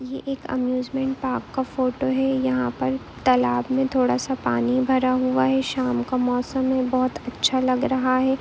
ये एक amusement park का फोटो है यहाँ पर तालाब में थोडा सा पानी भरा हुआ है शाम का मौसम है बहुत अच्छा लग रहा है।